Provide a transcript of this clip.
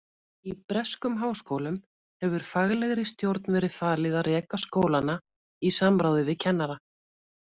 Í breskum háskólum hefur faglegri stjórn verið falið að reka skólana í samráði við kennara.